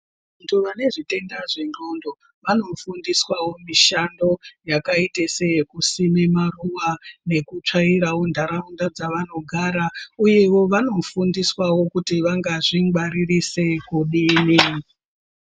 Vantu vane zvitenda zvengqondo, vanofundiswawo mishando, yakaita seyekusime maruwa nekutsvairawo ntharaunda dzavanogara. Uyewo, vanofundiswawo kuti vangazvingwaririse kudini.